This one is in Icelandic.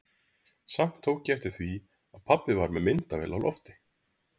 Samt tók ég eftir því að pabbi var með myndavél á lofti.